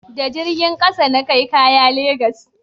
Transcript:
da jirgin ƙasa na kai kaya legas